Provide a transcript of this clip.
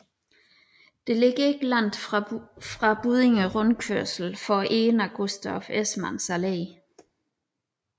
Det ligger ikke langt fra Buddinge Rundkørsel for enden af Gustav Esmanns Allé